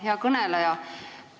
Hea kõneleja!